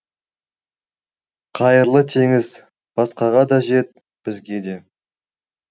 қайырлы теңіз басқаға да жет бізге де